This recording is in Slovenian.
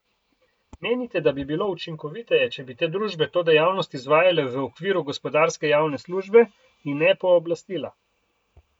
Menite, da bi bilo učinkoviteje, če bi te družbe to dejavnost izvajale v okviru gospodarske javne službe in ne pooblastila?